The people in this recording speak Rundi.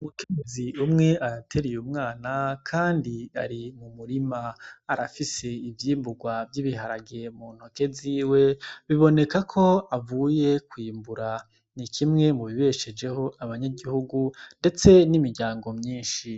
Umukemezi umwe arateriye umwana, kandi ari mu murima arafise ivyimburwa vy'ibiharagire mu ntoke ziwe biboneka ko avuye kwimbura ni kimwe mubibeshejeho abanyagihugu, ndetse n'imiryango myinshi.